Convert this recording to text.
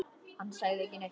Hann sagði ekki neitt.